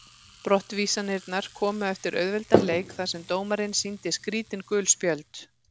Brottvísanirnar komu eftir auðveldan leik þar sem dómarinn sýndi skrítin gul spjöld.